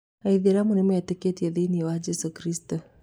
Aithĩramũ nĩmetĩkĩtie thĩiniĩ wa Jĩsũ Kristũ.